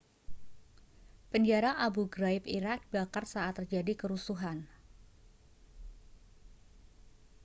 penjara abu ghraib irak dibakar saat terjadi kerusuhan